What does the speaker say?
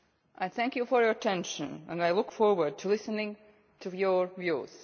I thank you for your attention, and I look forward to listening to your views.